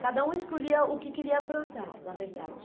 Cada um escolhia o que queria plantar, na verdade.